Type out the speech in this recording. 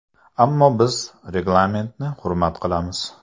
Ammo biz reglamentni hurmat qilamiz.